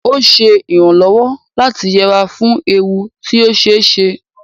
Ó ń ṣe ìrànlọ́wọ́ láti yẹra fún ewu tí ó ṣe é ṣe